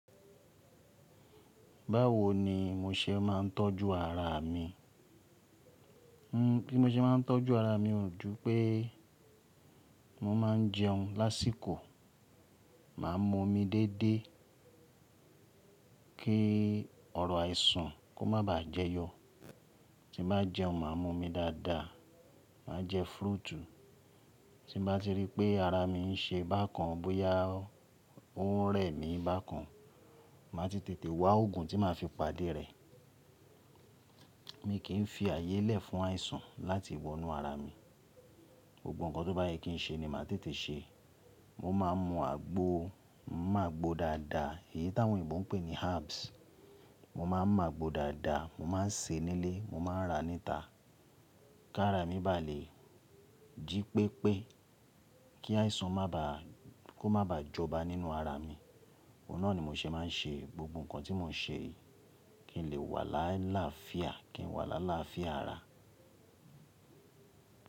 Báwo ní mó sé máà ń tọ́jú ará mi. Bí mó sé máà ń tọ́jú ará mi ó ju pé mo máa ń jẹun lásìkò. Máà mú òmí déédéé kí ọrọ̀ àìsàn kó má baà jẹyọ. Tí bá jẹun, màá mú òmí dáadáa, máa jẹ fúrútù. Tí bá ti ríi pé ará mi ń ṣe bákan bóyá ó rẹ̀ mí bákan, màá ti tètè wá ògùn tí màá fi pàdé rẹ̀. Mi kì í fi ààyè lẹ̀ fún àìsàn láti wọ inú ará mí. Gbógbó nǹkan tó bá yẹ kí n ṣe ni màá tètè ṣe. Mó máa ń mu àgbò, mí mú àgbò dáadáa èyí táwọn òyìnbó ń pè ní herbs. Moó máa ń mú ágbo dáadáa, mó máa ń sè nílé, mó máa ń ra níta. Kí ara mi bá lè jí pépé, kí àìsàn má bà a kó má baà jọba nínú ara mi. Ó náà ni mo ṣe máa ń ṣe gbogbo nǹkan tí mo ń ṣe kí n lè wà láíláfíà, kí n wà láíláfíà ará.